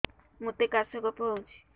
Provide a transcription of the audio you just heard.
ମୋତେ କାଶ କଫ ହଉଚି